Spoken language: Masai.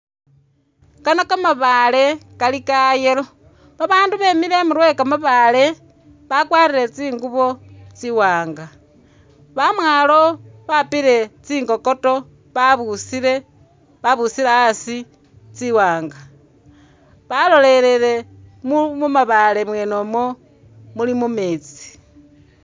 Kano kali kamabaale kali ka yellow, babaandu beside imurwe we kamabaale bakwarire tsingubo tsiwaanga. Amwaalo bapile tsingokoto babusile, babusile asi tsiwaanga. Balolelele mu mu mabaale mwene umwo mu meetsi.